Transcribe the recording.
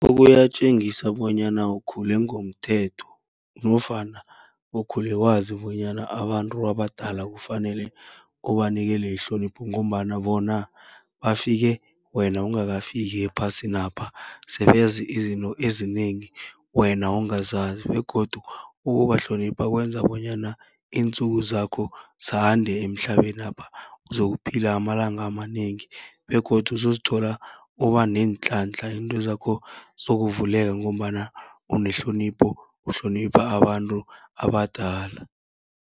Kuyatjengisa bonyana ukhule ngomthetho nofana ukhule wazi bonyana abantu abadala kufanele ubanikele ihlonipho, ngombana bona bafike wena ungakafiki ephasinapha, sebazi izinto ezinengi wena ongazazi begodu ukubahlonipha kwenza bonyana intsuku zakho zande emhlabenapha. Uzokuphila amalanga amanengi begodu uzozithola uba neenhlanhla, izinto zakho zizokuvuleka ngombana unehlonipho, uhlonipha abantu abadala.